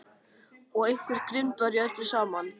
Og einhver grimmd var í öllu saman.